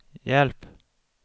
hjälp